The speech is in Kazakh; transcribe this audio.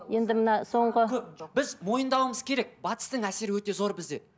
енді мына соңғы көп біз мойындауымыз керек батыстың әсері өте зор бізде